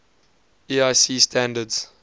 iec standards